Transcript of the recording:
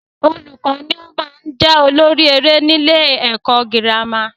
Olùkọ́ ni o maá n jẹ́ olórí eré ni ilé ẹ̀kọ́ girama